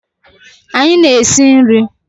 anyi na-esi nri